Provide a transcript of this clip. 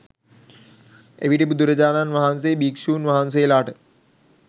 එවිට බුදුරජාණන් වහන්සේ භික්ෂූන් වහන්සේලාට